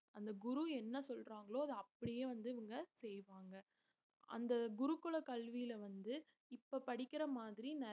அந்த குரு என்ன சொல்றாங்களோ அதை அப்படியே வந்து இவங்க செய்வாங்க அந்த குருக்குல கல்வியில வந்து இப்ப படிக்கிற மாதிரி